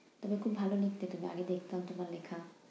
তুমি খুব ভালো লিখতে তো, আমি দেখতাম তোমার লেখা।